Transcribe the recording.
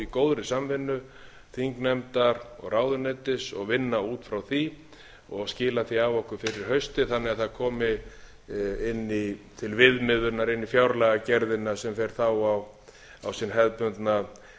góðri samvinnu þingnefndar og ráðuneytis og vinna út frá því og skila því fa okkur fyrir haustið þannig að það komi inn til viðmiðunar inn í fjárlagagerðina sem fer þá á sinn hefðbundna endasprett þegar hæstvirtur